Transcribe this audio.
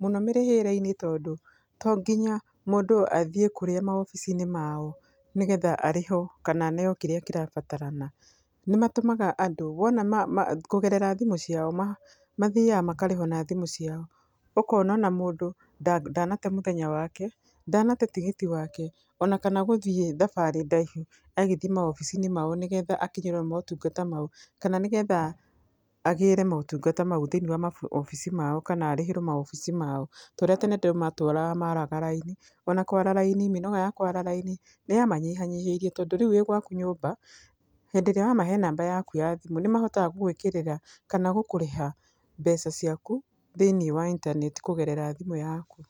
mũno mĩrĩhĩre-inĩ tondũ to nginya mundũ athiĩ kũrĩa maobici-inĩ mao nĩgetha arĩhwo kana aneo kĩrĩa kĩrabatarana. Nĩmatũmaga andũ wona ma ma kũgerera thimũ ciao, mathiaga makarĩhwo na thimũ ciao, ũkona ona mũndũ ndanate mũthenya wake, ndanate tigiti wake ona kana gũthiĩ thabarĩ ndaihu agĩthiĩ maobici-inĩ mao nĩgetha akinyĩrwo nĩ motungata mao, kana nĩgetha agĩre motungata mau thĩiniĩ wa maobici mao kana arĩhĩre maobici mao, ta ũrĩa tene andũ matũraga maraga raini ona kwara raini mĩnoga ya kwara raini nĩyamanyihanyihĩirie tondũ rĩu wĩ gwaku nyũmba hĩndĩ ĩrĩa wamahe namba yaku ya thimũ nĩmahotaga gũgwĩkĩrĩra kana gũkũrĩha mbeca ciaku thĩiniĩ wa intaneti kũgerera thimũ yaku.